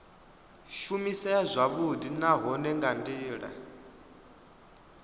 shumisea zwavhudi nahone nga ndila